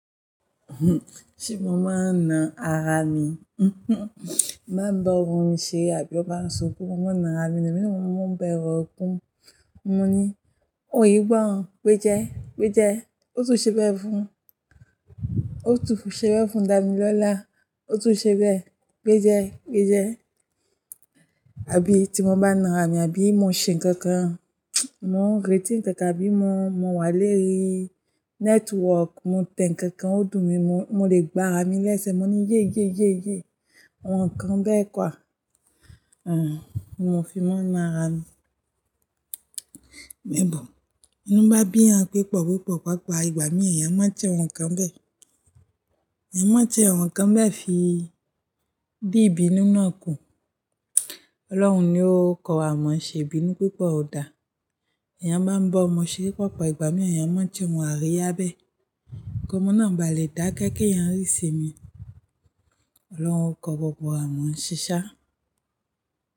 Ṣé mo máa ń na ara mi? Bí mo bá ń bọ́ ọrùn mi ṣe àbí ọ bá ń sunkún, mo máa ń na ara mi nì míràn mo bẹrù ekùn, mo ní "òye gbọ́n, péjẹ́, péjẹ́, ó tún ṣe bẹ́ẹ̀ fún, ó tún ṣe bẹ́ẹ̀ fún Dàmí lọ́lá, ó tún ṣe bẹ́ẹ̀, péjẹ́, péjẹ́". Àbí tí mo bá na ara mi àbí mo ń ṣe nǹkan kan, mo ń retí ǹkan tàbí mo, mo wà léri network, mo tẹ nǹkan kan ó dùn mi mo, mo lè gba ara mi lẹ́sẹ̀, mo ní "yéyé, yéyé, awọn kàn bẹ́ẹ̀ kwa". Àán, mo fi máa ń na ara mi. Níbò, binú bá bí'yan pé pípọ́pípọ́, ìgbà mìíràn èèyàn máa che awọn kàn bẹ́ẹ̀. Ẹ̀yàn máa tí awọn kàn bẹ́ẹ̀ fi dì ìbì naa kù. Ọlọ́run ni ó kọ amọ̀ ṣe ìbínú pípọ̀ o dà. Ẹ̀yàn bá ń bọ́ ọmọ ṣeré pápá, ìgbà mìíràn èèyàn máa che wọn á rí abẹ. Kó mọ́ náà ba lẹ́ dàké kí ẹ̀yàn rí isinmi. Ọlọ́run ó kọ gbogbo wa mọ̀óse ṣá.